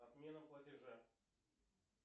отмена платежа